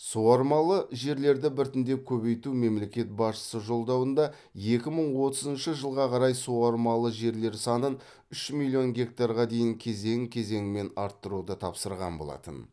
суармалы жерлерді біртіндеп көбейту мемлекет басшысы жолдауында екі мың отызыншы жылға қарай суармалы жерлер санын үш миллион гектарға дейін кезең кезеңмен арттыруды тапсырған болатын